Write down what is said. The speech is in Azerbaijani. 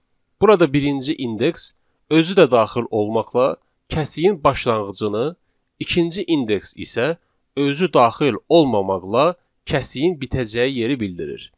Burada birinci indeks özü də daxil olmaqla kəsiyin başlanğıcını, ikinci indeks isə özü daxil olmamaqla kəsiyin bitəcəyi yeri bildirir.